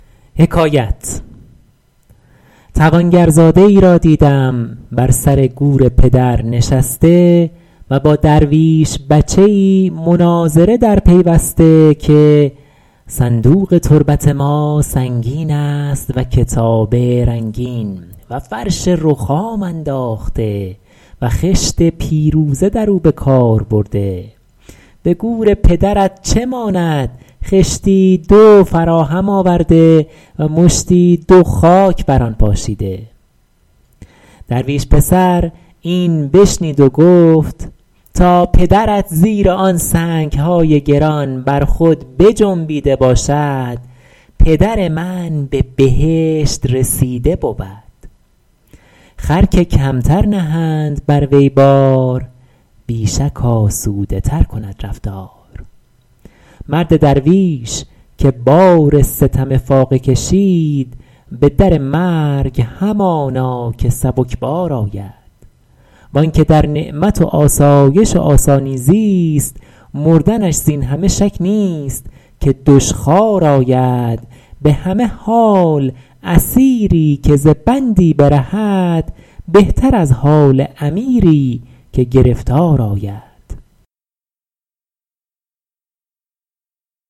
توانگرزاده ای را دیدم بر سر گور پدر نشسته و با درویش بچه ای مناظره در پیوسته که صندوق تربت ما سنگین است و کتابه رنگین و فرش رخام انداخته و خشت پیروزه در او به کار برده به گور پدرت چه ماند خشتی دو فراهم آورده و مشتی دو خاک بر آن پاشیده درویش پسر این بشنید و گفت تا پدرت زیر آن سنگ های گران بر خود بجنبیده باشد پدر من به بهشت رسیده بود خر که کمتر نهند بر وی بار بی شک آسوده تر کند رفتار مرد درویش که بار ستم فاقه کشید به در مرگ همانا که سبکبار آید وآن که در نعمت و آسایش و آسانی زیست مردنش زین همه شک نیست که دشخوار آید به همه حال اسیری که ز بندی برهد بهتر از حال امیری که گرفتار آید